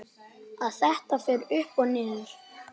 Að þetta fer upp og niður?